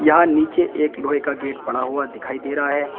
यहां नीचे एक लोहे का गेट पड़ा हुआ दिखाई दे रहा है।